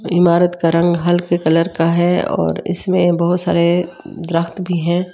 इमारत का रंग हल्के कलर का है और इसमें बहुत सारे भी है।